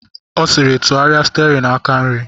Ọ sịrị, tụgharịa stiarin aka nri!